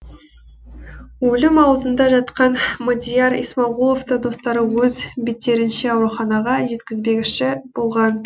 өлім аузында жатқан мадияр исмағұловты достары өз беттерінше ауруханаға жеткізбекші болған